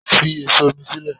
Fi èso inú sílẹ̀!